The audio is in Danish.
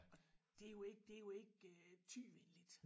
Og det jo ikke det jo ikke Thy-venligt